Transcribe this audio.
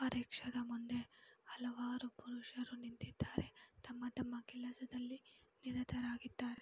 ರಿಕ್ಷಾದ ಮುಂದೆ ಹಲವಾರು ಪುರುಷರು ನಿಂತಿದ್ದಾರೆ ತಮ್ಮ ತಮ್ಮ ಕೆಲಸದಲ್ಲಿ ನಿರತರಾಗಿದ್ದರೆ.